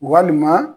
Walima